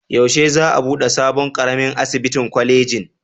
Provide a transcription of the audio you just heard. Yaushe za a buɗe sabon ƙaramin asibitin kwalejin?